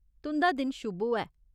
तुं'दा दिन शुभ होऐ।